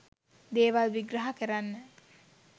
දේවල් විග්‍රහ කරන්න